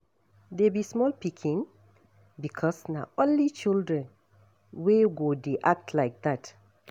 Dey be small pikin, because na only children wey go dey act like dat